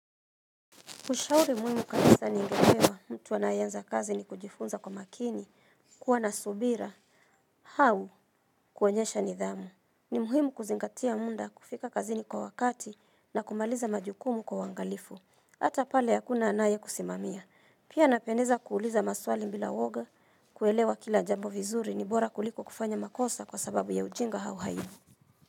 Kushauri muhimu kabisa ni ngepewa mtu anayeanza kazi ni kujifunza kwa makini, kuwa na subira, hau kuonyesha nidhamu. Ni muhimu kuzingatia muda kufika kazini kwa wakati na kumaliza majukumu kwa wangalifu. Hata pale ya kuna anaye kusimamia. Pia napendeza kuuliza maswali bila woga, kuelewa kila jambo vizuri ni bora kuliko kufanya makosa kwa sababu ya ujinga hau hai.